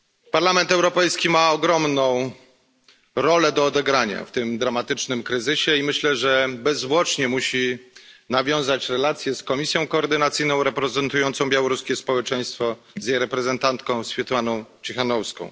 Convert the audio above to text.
Parlament Europejski ma ogromną rolę do odegrania w tym dramatycznym kryzysie i myślę, że bezzwłocznie musi nawiązać relacje z Komisją Koordynacyjną reprezentującą białoruskie społeczeństwo oraz z jej reprezentantką Swiatłaną Cichanouską.